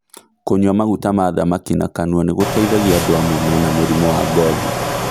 Kũnyua maguta ma thamaki na kanua nĩgũteithagia andũ amwe mena mũrimũ wa ngothi